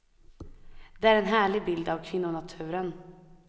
Det är en härlig bild av kvinnonaturen.